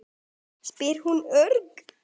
spyr hún örg.